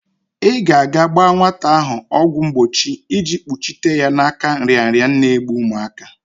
I ga-aga gba nwata ahụ ọgwọ mgbochi iji kpuchite ya n'aka nrịanrịa n'egbu umuaka.